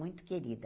Muito querida.